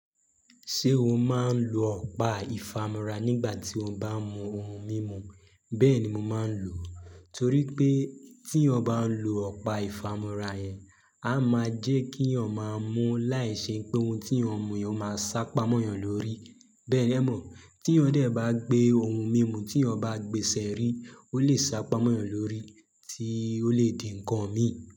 Ṣé o máa ń lo ọ̀pá ìfámọra nígbà tí o bá ń mu ohun mímu? Bẹ́ẹ̀ ni mo máa ń lò ó, torí pé tí eeyan bá ń lo ọ̀pá ìfámọra yẹn, a máa jẹ́ kí yan máa mú láìṣe pé ohun tí eeyan mu eeyan máa sá pamọ́ eeyan lórí. Bẹ́ẹ̀ ni ẹ mọ̀, tí eeyan dè bá gbé ohun mímu tí eeyan bá gbé sẹ́rí, ó lè sá pamọ́ eeyan lórí tí ó lè di ǹnkan mi.